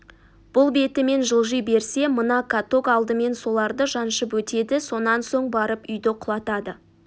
бұл бетімен жылжи берсе мына каток алдымен соларды жаншып өтеді сонан соң барып үйді құлатады